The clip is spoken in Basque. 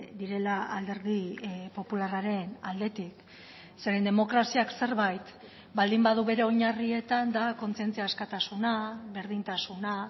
direla alderdi popularraren aldetik zeren demokraziak zerbait baldin badu bere oinarrietan da kontzientzia askatasuna berdintasuna